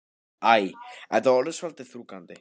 Æ, þetta er orðið svolítið þrúgandi.